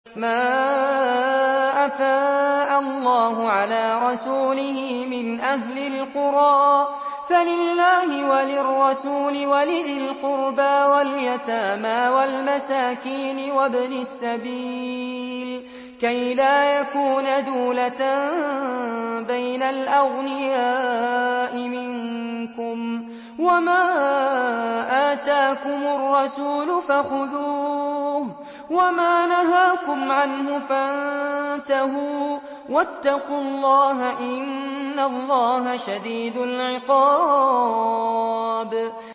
مَّا أَفَاءَ اللَّهُ عَلَىٰ رَسُولِهِ مِنْ أَهْلِ الْقُرَىٰ فَلِلَّهِ وَلِلرَّسُولِ وَلِذِي الْقُرْبَىٰ وَالْيَتَامَىٰ وَالْمَسَاكِينِ وَابْنِ السَّبِيلِ كَيْ لَا يَكُونَ دُولَةً بَيْنَ الْأَغْنِيَاءِ مِنكُمْ ۚ وَمَا آتَاكُمُ الرَّسُولُ فَخُذُوهُ وَمَا نَهَاكُمْ عَنْهُ فَانتَهُوا ۚ وَاتَّقُوا اللَّهَ ۖ إِنَّ اللَّهَ شَدِيدُ الْعِقَابِ